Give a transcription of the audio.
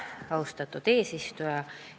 Austatud eesistuja!